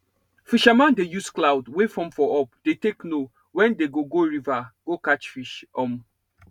fisherman dey use cloud wey form for up dey take know when they go go river go catch fish um